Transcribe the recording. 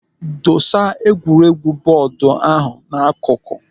Dosa egwuregwu bọọdu ahụ n'akụkụ.